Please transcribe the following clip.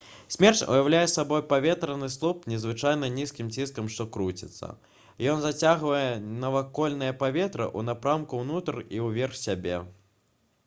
смерч уяўляе сабой паветраны слуп з надзвычай нізкім ціскам што круціцца ён зацягвае навакольнае паветра ў напрамку ўнутр і ўверх сябе